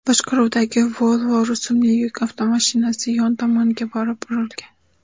boshqaruvidagi Volvo rusumli yuk avtomashinasi yon tomoniga borib urilgan.